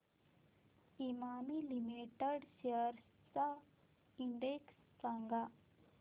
Emami limited shares चा index सांगा